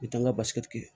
I t'an ka basi tigɛ